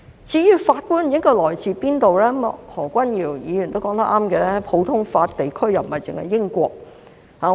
至於法官應該來自何方，何君堯議員也說得對，普通法地區不單英國。